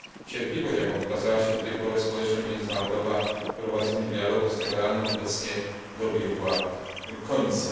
Cierpliwość, jaką wykazała się do tej pory społeczność międzynarodowa w prowadzeniu dialogu z Teheranem, obecnie dobiegła końca.